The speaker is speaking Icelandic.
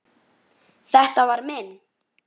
Þetta var minn.